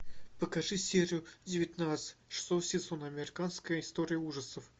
покажи серию девятнадцать шестого сезона американская история ужасов